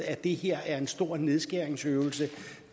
at det her er en stor nedskæringsøvelse